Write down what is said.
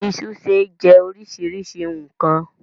Iṣu ṣe jẹ́ oríṣiríṣi nkan.